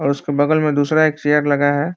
और उसके बगल में दूसरा एक चेयर लगा है।